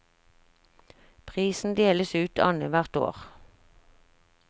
Prisen deles ut annet hvert år.